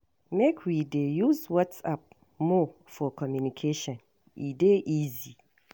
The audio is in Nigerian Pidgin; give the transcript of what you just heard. Make we dey use WhatsApp more for communication, e dey easy.